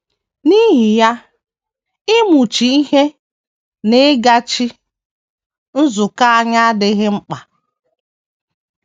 N’ihi ya, ịmụchi ihe na ịgachi nzukọ anya adịghị mkpa.